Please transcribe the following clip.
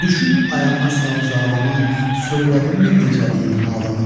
Düşüb ayağına sən o zalımın, söylədinmi necəliyin halımın?